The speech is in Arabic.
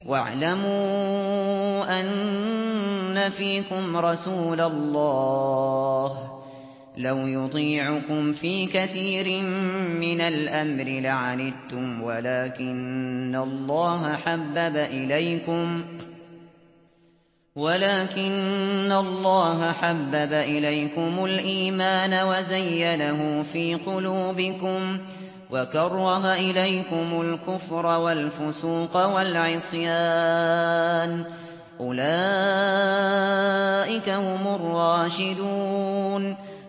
وَاعْلَمُوا أَنَّ فِيكُمْ رَسُولَ اللَّهِ ۚ لَوْ يُطِيعُكُمْ فِي كَثِيرٍ مِّنَ الْأَمْرِ لَعَنِتُّمْ وَلَٰكِنَّ اللَّهَ حَبَّبَ إِلَيْكُمُ الْإِيمَانَ وَزَيَّنَهُ فِي قُلُوبِكُمْ وَكَرَّهَ إِلَيْكُمُ الْكُفْرَ وَالْفُسُوقَ وَالْعِصْيَانَ ۚ أُولَٰئِكَ هُمُ الرَّاشِدُونَ